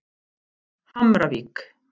Hamravík